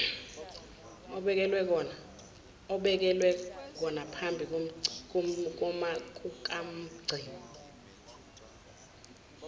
obekelwe konaphambi kukamgcini